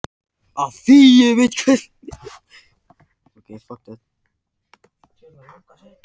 Af því ég veit hvernig hún verður.